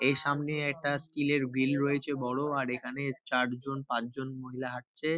এখানে এই সামনে একটা স্টিল -এর গ্রিল রয়েছে বড় আর এখানে চারজন পাঁচজন মহিলা হাঁটছে।